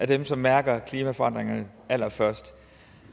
dem som mærker klimaforandringerne allerførst